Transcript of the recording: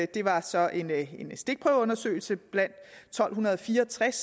det var så en stikprøveundersøgelse blandt tolv fire og tres